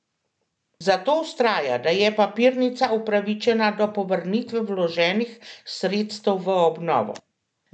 Zato vztraja, da je papirnica upravičena do povrnitve vloženih sredstev v obnovo.